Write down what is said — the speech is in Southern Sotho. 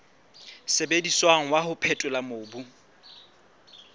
sebediswang wa ho phethola mobu